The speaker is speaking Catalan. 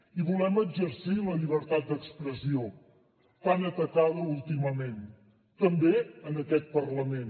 i volem exercir la llibertat d’expressió tan atacada últimament també en aquest parlament